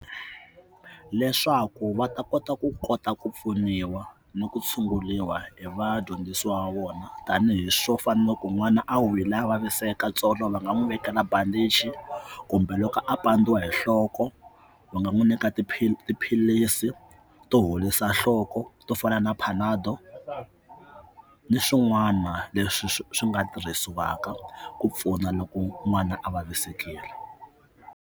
Leswaku va ta kota ku kota ku pfuniwa na ku tshunguriwa hi vadyondzisiwa va vona tanihi swo fanele ku n'wana a wile a vaviseka tsolo va nga n'wi vekela bandichi kumbe loko a pandziwa hi nhloko ku va nga n'wi nyika tiphilisi to horisa nhloko to fana na panado ni swin'wana leswi swi nga tirhisiwaka ku pfuna loko n'wana a vavisekile.